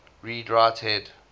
read write head